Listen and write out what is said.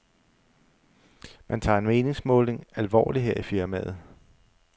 Man tager en meningsmåling alvorligt her i firmaet.